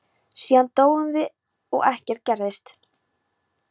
Síðan dóum við og ekkert gerðist.